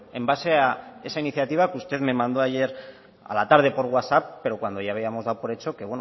en base a esa iniciativa que usted me mandó ayer por whatsapp pero cuando ya habíamos dado por hecho que